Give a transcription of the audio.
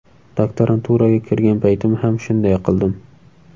Doktoranturaga kirgan paytim ham shunday qildim.